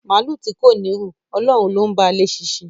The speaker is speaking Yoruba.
Màálù tí kò ní ru, Ọlọ́run ló ba léṣinṣin